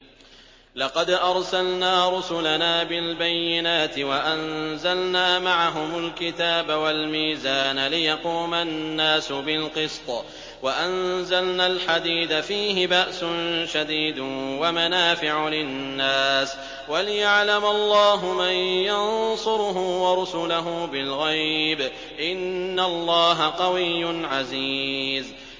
لَقَدْ أَرْسَلْنَا رُسُلَنَا بِالْبَيِّنَاتِ وَأَنزَلْنَا مَعَهُمُ الْكِتَابَ وَالْمِيزَانَ لِيَقُومَ النَّاسُ بِالْقِسْطِ ۖ وَأَنزَلْنَا الْحَدِيدَ فِيهِ بَأْسٌ شَدِيدٌ وَمَنَافِعُ لِلنَّاسِ وَلِيَعْلَمَ اللَّهُ مَن يَنصُرُهُ وَرُسُلَهُ بِالْغَيْبِ ۚ إِنَّ اللَّهَ قَوِيٌّ عَزِيزٌ